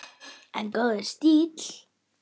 En góður stíll!